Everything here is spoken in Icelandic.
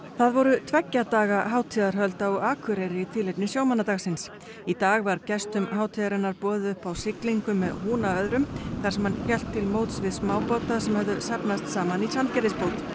það voru tveggja daga hátíðarhöld á Akureyri í tilefni sjómannadagsins í dag var gestum hátíðarinnar boðið upp á siglingu með húna öðrum þar sem hann hélt til móts við smábáta sem höfðu safnast saman í Sandgerðisbót